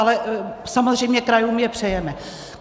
Ale samozřejmě krajům je přejeme.